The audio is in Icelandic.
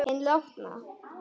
Hinn látna.